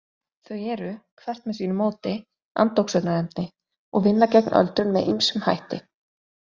Þau eru, hvert með sínu móti, andoxunarefni og vinna gegn öldrun með ýmsum hætti.